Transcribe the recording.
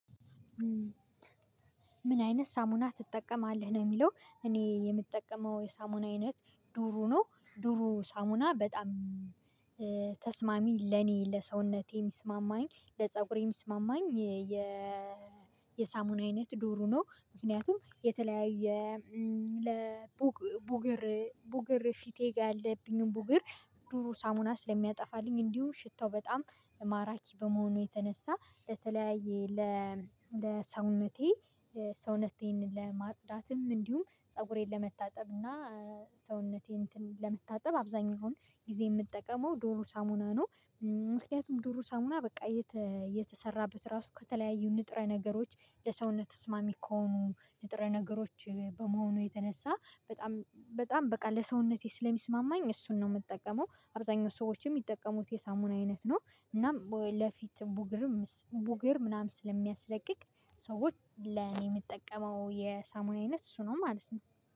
ምን አይነት ሳሙና ትጠቀማለህ ነው? የሚለው እኔ የምጠቀመው የሳሙና አይነት ዱሩ ነው። ዱሩ ሳሙና በጣም ተስማሚ ለኔ ለሰውነቴ የሚስማማኝ ለፀጉሬም የሚስማማኝ የ የሳሙና አይነት ዱሩ ነው። ምክንያቱም የተለያየ ለቡገር ቡገር ፊቴ ጋር ያለብኝን ቡገር ዱሩ ሳሙና ስለሚያጠፋልኝ። እንዲሁም ሽታው በጣም ማራኪ በመሆኑ የተነሳ ለተለያየ ለሰውነቴ ሰውነቴን ለማጽዳትም እንዲሁም ፀጉሬን ለመታጠብ እና ሰውነቴን እንትን ለመታጠብ አብዛኛውን ጊዜ የምትጠቀመው ዱሩ ሳሙና ነው። ምክንያቱም ዱሩ ሳሙና በቃ የተሰራበት ራሱ ከተለያዩ ንጥረ ነገሮች ለሰውነት ተስማሚ ከሆኑ ንጥረ ነገሮች ከመሆኑ የተነሳ በጣም በጣም በቃ ለሰውነቴ ስለሚስማማኝ እሱን ነው የምጠቀመው። አብዛኛው ሰዎችም የሚጠቀሙት የሳሙና አይነት ነው። እናም ለፊት ቡግርም ቡግር ምናምን ስለሚያስለቅቅ ሰዎች ለኔ የምጠቀመው የሳሙና አይነት እሱ ነው ማለት ነው